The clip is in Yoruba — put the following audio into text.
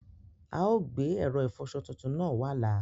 Aò gbe èrò ifọsọ tuntun naa wà lá.